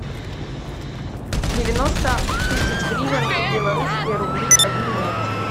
девяносто тысяч гривен в белорусские рубли обменять